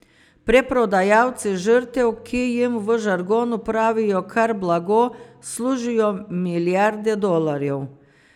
Preprodajalci žrtev, ki jim v žargonu pravijo kar blago, služijo milijarde dolarjev.